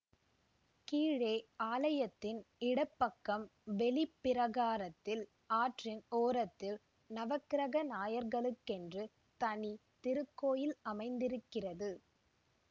கீழே ஆலயத்தின் இடப்பக்கம் வெளி பிரகாரத்தில் ஆற்றின் ஓரத்தில் நவக்கிரக நாயகர்களுக்கென்று தனி திருக்கோயில் அமைந்திருக்கிறது